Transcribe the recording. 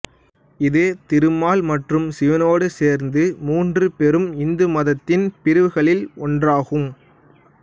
இது திருமால் மற்றும் சிவனேடு சேர்ந்து மூன்று பெரும் இந்துமதத்தின் பிரிவுகளில் ஒன்றாகும்